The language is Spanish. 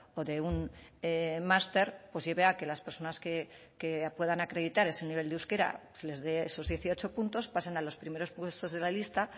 o de un master pues lleve a que las personas que puedan acreditar ese nivel de euskera se les dé esos dieciocho puntos pasan a los primeros puestos de la lista